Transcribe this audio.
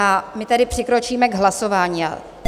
A my tedy přikročíme k hlasování.